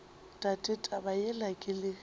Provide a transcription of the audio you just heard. tate taba yela ke le